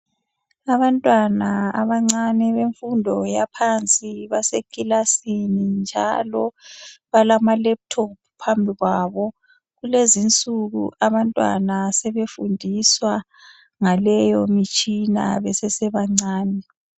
Abantwana abancane bemfundo yaphansi basekilasini njalo balamalaptop phambi kwabo. Kulezinsuku abantwana sebefundiswa ngaleyomitshina besesebancane.